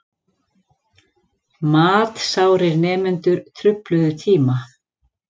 Matsárir nemendur trufluðu tíma